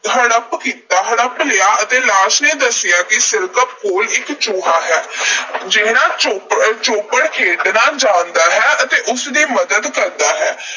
ਹੜੱਪ ਕੀਤਾ ਅਹ ਹੜੱਪ ਲਿਆ ਅਤੇ ਲਾਸ਼ ਨੇ ਦੱਸਿਆ ਕਿ ਸਿਰਕੱਪ ਕੋਲ ਇੱਕ ਚੂਹਾ ਹੈ, ਜਿਹੜਾ ਚੌਪੜ ਅਹ ਚੌਪੜ ਖੇਡਣਾ ਜਾਣਦਾ ਹੈ ਅਤੇ ਉਸ ਦੀ ਮੱਦਦ ਕਰਦਾ ਹੈ।